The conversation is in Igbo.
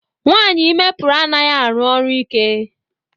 Nwaanyị ime pụrụ anaghị arụ ọrụ ike.